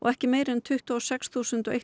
ekki meira en tuttugu og sex þúsund